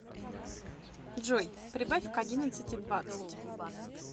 джой прибавь к одиннадцати двадцать